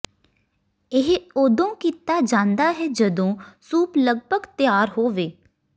ਇਹ ਉਦੋਂ ਕੀਤਾ ਜਾਂਦਾ ਹੈ ਜਦੋਂ ਸੂਪ ਲਗਭਗ ਤਿਆਰ ਹੋਵੇ